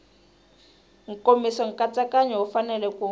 nkomiso nkatsakanyo wu fanele ku